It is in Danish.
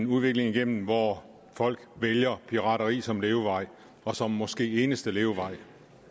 udvikling igennem hvor folk vælger pirateri som levevej og som måske eneste levevej